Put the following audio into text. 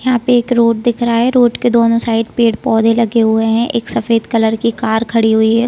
यहाँ पे एक रोड दिख रहा है रोड के दोनों साइड पेड़-पौधे लगे हुए है एक सफ़ेद कलर की कार खड़ी हुई है।